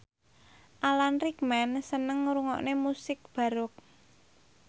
Alan Rickman seneng ngrungokne musik baroque